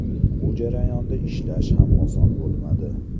Bu jarayonda ishlash ham oson bo‘lmadi.